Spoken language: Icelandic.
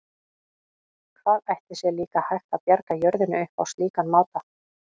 Hvað ætli sé líka hægt að bjarga jörðinni upp á slíkan máta?